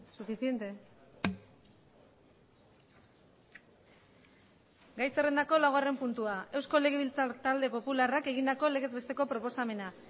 suficiente gai zerrendako laugarren puntua eusko legebiltzar talde popularrak egindako legez besteko proposamena